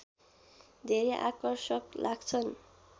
धेरै आकर्षक लाग्छन्